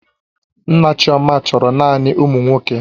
Nna chioma chọrọ naanị ụmụ nwoke